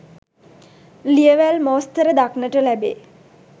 ලියවැල් මෝස්තර දක්නට ලැබේ.